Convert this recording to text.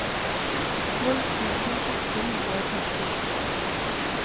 tolv tusen åtte hundre og femtisju